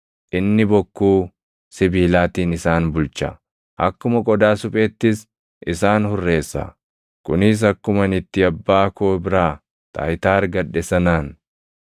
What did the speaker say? ‘Inni bokkuu sibiilaatiin isaan bulcha; akkuma qodaa supheettis + 2:27 \+xt Far 2:9\+xt* isaan hurreessa;’ kunis akkuma ani itti Abbaa koo biraa taayitaa argadhe sanaan.